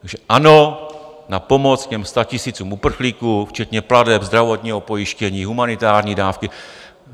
Takže ano, na pomoc těm statisícům uprchlíků, včetně plateb zdravotního pojištění, humanitární dávky...